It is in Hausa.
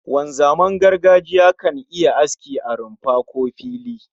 Wanzaman gargajiya kan yi aski a rumfa, ko a fili